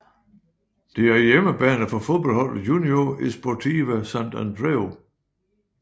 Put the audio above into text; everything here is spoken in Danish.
Det er hjemmebane for fodboldholdet Unió Esportiva Sant Andreu